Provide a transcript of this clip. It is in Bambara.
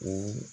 O